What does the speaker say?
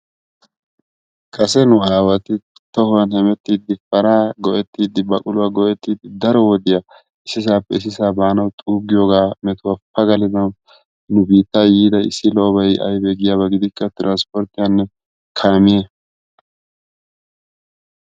Kase nu awati tuhowaan heemettidi paaran heemettidi baquluwaa go"ettidi daro wodiyaa issisaappe hara baanawu xuugiyoogaa metuwaa pagalawu nu biittaa yiida issi lo"obay aybee giyaba gidikko tiransporttiyaannne kaamiyaa.